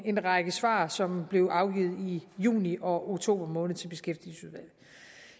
en række svar som blev afgivet i juni og oktober måned til beskæftigelsesudvalget